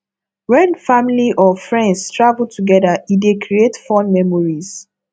when family or friends travel together e dey create fun memories